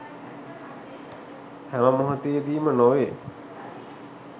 හැම මොහොතේදීම නොවේ